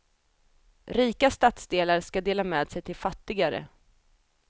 Rika stadsdelar ska dela med sig till fattigare.